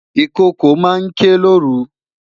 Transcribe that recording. Ikoko ma n ke loru